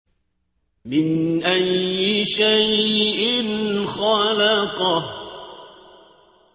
مِنْ أَيِّ شَيْءٍ خَلَقَهُ